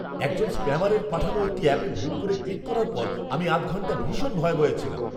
একজন স্প্যামারের পাঠানো একটি অ্যাপে ভুল করে ক্লিক করার পর আমি আধ ঘন্টা ভীষণ ভয়ে ভয়ে ছিলাম!